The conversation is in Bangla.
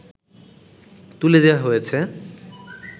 তুলে দেয়া হয়েছে